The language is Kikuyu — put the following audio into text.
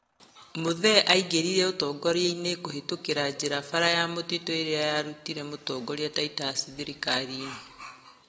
Muthee aingĩrire ũtogoriainĩ kũhĩtũkĩra jĩra bara ya mũtitũ ĩrĩa yarutire mũtongoria Titus thirikari-inĩ.